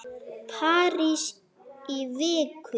París í viku?